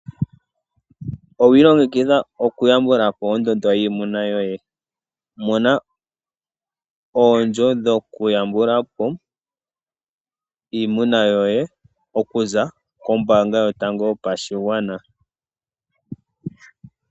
Owiilongekidha okuyambukapo ondondo yiimuna yoye? Mona omikuli dhokuyambulapo iimuna yoye, okuza kombaanga yotango yopashigwana .